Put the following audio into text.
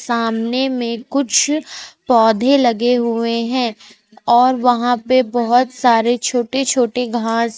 सामने में कुछ पौधे लगे हुए हैं और वहां पे बहोत सारे छोटे छोटे घास--